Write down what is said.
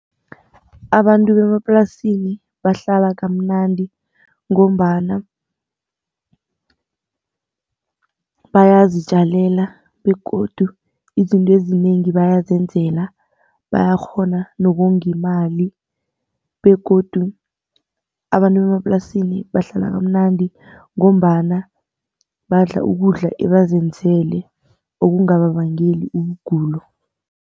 Abantu bemaplasini bahlala kamnandi ngombana bayazitjalela begodu izinto ezinengi bayanzela bayakghona nokonga imali. Begodu abantu bemaplasini bahlala kamnandi ngombana badla ukudla ebazenzeleko okungababangeli ukugula.